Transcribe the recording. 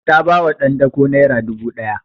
Ta ba wa ɗan dako naira dubu ɗaya